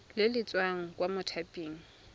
le le tswang kwa mothaping